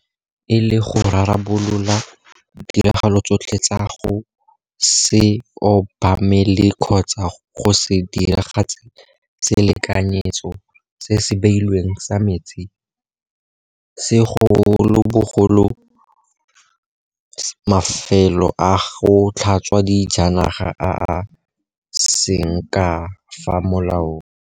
Maikaelelo e le go rarabolola ditiragalo tsotlhe tsa go se obamele kgotsa go se diragatse selekanyetso se se beilweng sa metsi, segolobogolo mafelo a go tlhatswa dijanaga a a seng ka fa molaong.